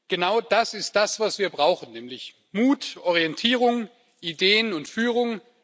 Genau das ist das, was wir brauchen, nämlich Mut, Orientierung, Ideen und Führung.